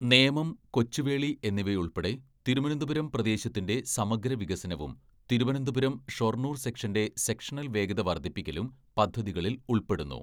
നേമം, കൊച്ചുവേളി എന്നിവയുൾപ്പെടെ തിരുവനന്തപുരം പ്രദേശത്തിന്റെ സമഗ്ര വികസനവും തിരുവനന്തപുരം ഷൊർണൂർ സെക്ഷന്റെ സെക്ഷണൽ വേഗത വർധിപ്പിക്കലും പദ്ധതികളിൽ ഉൾപ്പെടുന്നു.